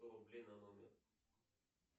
сто рублей на номер